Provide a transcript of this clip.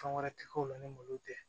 Fɛn wɛrɛ ti k'o la ni malo tɛ